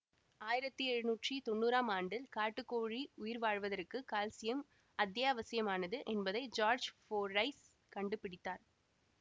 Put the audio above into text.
ஆயிரத்தி எழுநூற்றி தொன்னூறாம் ஆண்டில் காட்டுக்கோழி உயிர்வாழ்வதற்கு கால்சியம் அத்தியாவசிமானது என்பதை ஜார்ஜ் ஃபோர்டைஸ் கண்டுபிடித்தார்